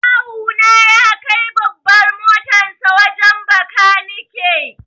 Kawu na ya kai babbar motarsa wajen bakanike.